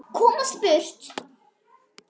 Komast burt.